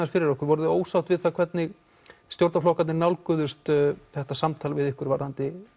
fyrir okkur voruð þið ósátt við það hvernig stjórnarflokkarnir nálguðust þetta samtal við ykkur varðandi